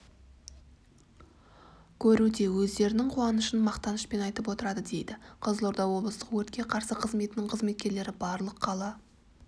көруде өздерінің қуанышын мақтанышпен айтып отырады дейді қызылорда облыстық өртке қарсы қызметінің қызметкерлері барлық қала